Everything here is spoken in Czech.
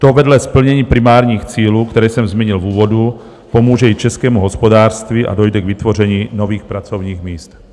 To vedle splnění primárních cílů, které jsem zmínil v úvodu, pomůže i českému hospodářství a dojde k vytvoření nových pracovních míst.